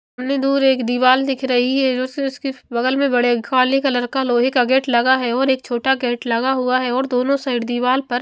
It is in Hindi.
सामने दूर एक दीवाल दिख रही है जो उसके बगल में बड़े खाली कलर का लोहे का गेट लगा है और एक छोटा गेट लगा हुआ है और दोनों साइड दीवाल पर--